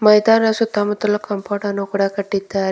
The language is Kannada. ಬೈದಾರ ಸುತ್ತಮುತ್ತಲು ಕಾಂಪೌಂಡ್ ಅನ್ನು ಕಟ್ಟಿದ್ದಾರೆ.